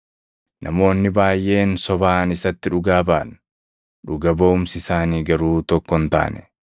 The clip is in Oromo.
Namoonni baayʼeen sobaan isatti dhugaa baʼan; dhuga baʼumsi isaanii garuu tokko hin taane.